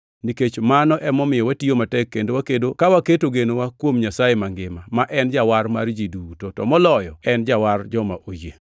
nikech mano emomiyo watiyo matek kendo wakedo, ka waketo genowa kuom Nyasaye mangima, ma en Jawar mar ji duto, to moloyo en Jawar joma oyie.